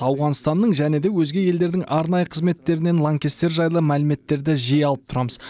ауғанстанның және де өзге елдердің арнайы қызметтерінен лаңкестер жайлы мәліметтерді жиі алып тұрамыз